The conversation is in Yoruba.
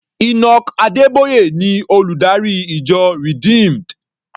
Enoch Adeboye ni olùdarí ìjọ Redeemed.